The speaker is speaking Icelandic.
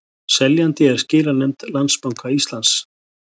Seljandi er skilanefnd Landsbanka Íslands